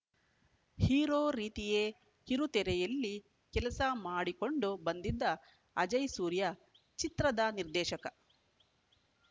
hero ರೀತಿಯೇ ಕಿರುತೆರೆಯಲ್ಲಿ ಕೆಲಸ ಮಾಡಿಕೊಂಡು ಬಂದಿದ್ದ ಅಜಯ್‌ ಸೂರ್ಯ ಚಿತ್ರದ ನಿರ್ದೇಶಕ